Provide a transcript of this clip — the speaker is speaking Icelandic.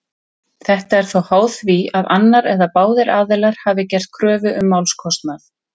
Þetta er þó háð því að annar eða báðir aðilar hafi gert kröfu um málskostnað.